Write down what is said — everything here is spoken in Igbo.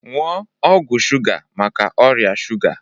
Nuo ọgwụ shuga maka ọrịa shuga